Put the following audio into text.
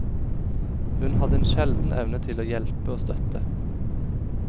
Hun hadde en sjelden evne til å hjelpe og støtte.